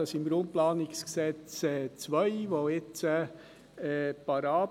Das Bauen ausserhalb der Bauzone ist ausschliesslich im Bundesrecht geregelt.